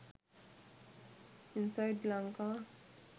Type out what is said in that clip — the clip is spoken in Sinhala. inside lanka